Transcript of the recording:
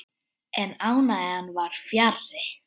En ánægjan var fjarri.